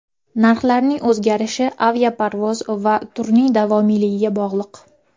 Narxlarning o‘zgarishi aviaparvoz va turning davomiyligiga bog‘liq.